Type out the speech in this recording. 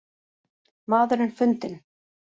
Maðurinn fundinn